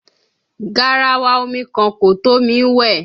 Garawa omi kan kò tó mi wẹ̀.